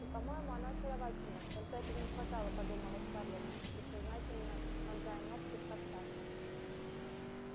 по-моему она очаровательна только этого не хватало подумала скарлетт бессознательно вонзая ногти в корсаж